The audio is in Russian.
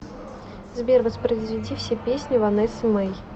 сбер воспроизведи все песни ванессы мей